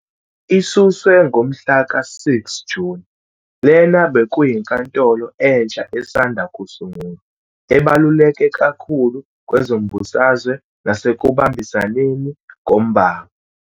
Isuswe ngomhlaka-6 Juni, lena bekuyinkantolo entsha esanda kusungulwa "ebaluleke kakhulu kwezombusazwe nasekubambisaneni ngombango."